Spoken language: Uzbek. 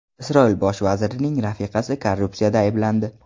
Isroil bosh vazirining rafiqasi korrupsiyada ayblandi.